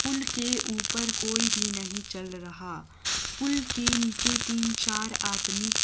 पुल के ऊपर कोई भी नहीं चल रहा पुल के नीचे तीन चार आदमी--